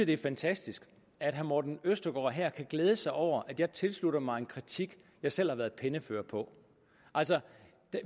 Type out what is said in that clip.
det er fantastisk at herre morten østergaard her kan glæde sig over at jeg tilslutter mig en kritik jeg selv har været pennefører på altså